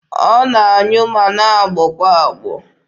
Ọ na-anyụ ma na-agbọ kwa agbọ.